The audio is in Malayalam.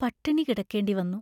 പട്ടിണി കിടക്കേണ്ടി വന്നു.